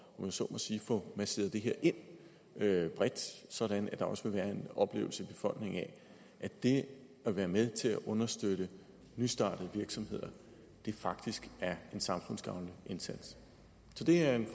jeg så må sige at få masseret det her bredt ind sådan at der også vil være en oplevelse i befolkningen af at det at være med til at understøtte nystartede virksomheder faktisk er en samfundsgavnlig indsats så det er en